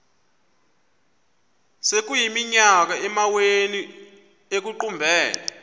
sekuyiminyaka amawenu ekuqumbele